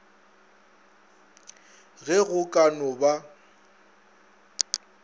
ge go ka no ba